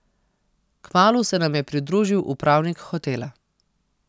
Kmalu se nam je pridružil upravnik hotela.